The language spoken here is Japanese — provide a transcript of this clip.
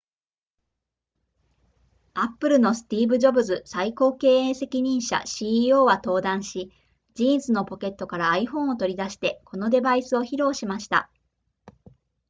apple のスティーブジョブズ最高経営責任者 ceo は登壇しジーンズのポケットから iphone を取り出してこのデバイスを披露しました